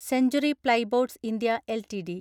century plyboards (India) LTD